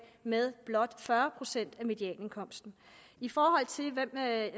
med blot fyrre procent af medianindkomsten i forhold til hvem jeg